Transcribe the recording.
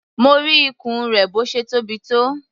Mo rí ikùn rẹ̀ bó ṣe tóbi.